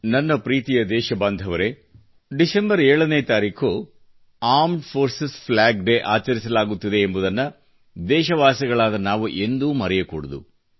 ನನ್ನ ಪ್ರೀತಿಯ ದೇಶಬಾಂಧವರೆ ಡಿಸೆಂಬರ್ 7 ನೇ ತಾರೀಖು ಂಡಿmeಜ ಈoಡಿಛಿes ಈಟಚಿg ಆಚಿಥಿ ಆಚರಿಸಲಾಗುತ್ತಿದೆ ಎಂಬುದನ್ನು ದೇಶವಾಸಿಗಳಾದ ನಾವು ಎಂದೂ ಮರೆಯಕೂಡದು